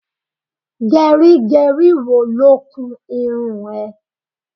Gẹrígẹrí wo ló kun irun ẹ?